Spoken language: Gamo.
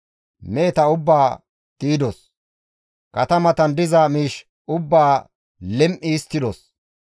Meheta ubbaa di7idos; katamatan diza miish ubbaa lim7i histtidos.